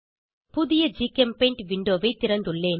ஒரு புதிய ஜிகெம்பெய்ண்ட் விண்டோவை திறந்துள்ளேன்